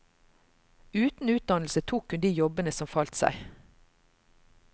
Uten utdannelse tok hun de jobbene som falt seg.